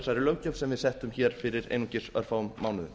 löggjöf sem við settum fyrir einungis örfáum mánuðum